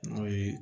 N'o ye